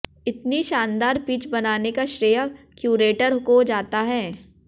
इतनी शानदार पिच बनाने का श्रेय क्यूरेटर को जाता है